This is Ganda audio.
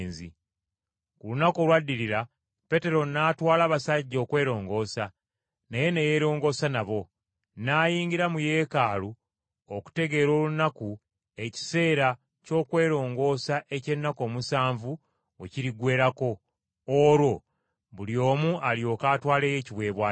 Ku lunaku olwaddirira Pawulo n’atwala abasajja okwerongoosa, naye ne yeerongoosa nabo. N’ayingira mu Yeekaalu okutegeera olunaku ekiseera ky’okwerongoosa eky’ennaku omusanvu we kiriggweerako, olwo buli omu alyoke atwaleyo ekiweebwayo kye.